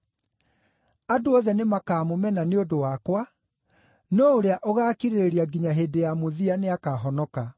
Andũ othe nĩmakamũmena nĩ ũndũ wakwa, no ũrĩa ũgaakirĩrĩria nginya hĩndĩ ya mũthia nĩakahonoka.